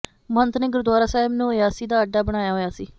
ਮਹੰਤ ਨੇ ਗੁਰਦੁਆਰਾ ਸਾਹਿਬ ਨੂੰ ਅੱਯਾਸ਼ੀ ਦਾ ਅੱਡਾ ਬਣਾਇਆ ਹੋਇਆ ਸੀ